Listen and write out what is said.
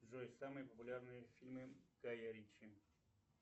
джой самые популярные фильмы гая ричи